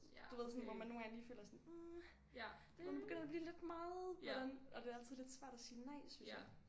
Du ved sådan hvor man nogle gange lige føler sådan hm hvor det begynder at blive lidt meget hvordan og det er altid lidt svært at sige nej synes jeg